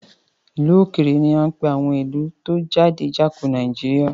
Ìlú òkèrè ní á ń pè àwọn ìlú tí ó jáde Jáko Nàìjíríà.